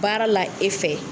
Baara la e fɛ.